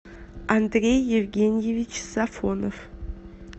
андрей евгеньевич сафонов